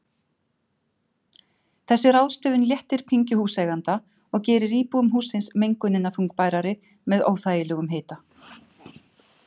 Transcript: Þessi ráðstöfun léttir pyngju húseiganda og gerir íbúum hússins mengunina þungbærari með óþægilegum hita.